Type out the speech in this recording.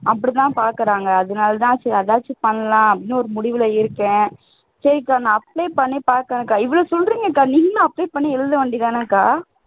அப்படிதான் பார்க்கிறாங்க அதுனால தான் சரி அதாச்சும் பண்ணலாம் அப்படின்னு ஒரு முடிவுல இருக்கேன் சரிக்கா நான் apply பண்ணி பாக்கிறேன்க்கா இவ்வளவு சொல்றீங்கக்கா நீங்களும் apply பண்ணி எழுதவேண்டியதுதானக்கா